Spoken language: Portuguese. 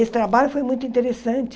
Esse trabalho foi muito interessante.